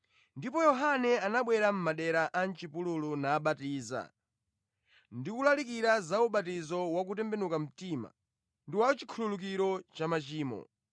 Ndipo Yohane anabwera mʼmadera a mʼchipululu nabatiza, ndi kulalikira za ubatizo wa kutembenuka mtima ndi wa chikhululukiro cha machimo.